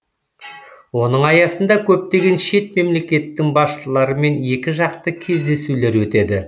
оның аясында көптеген шет мемлекеттің басшыларымен екіжақты кездесулер өтеді